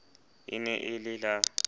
e ne e le la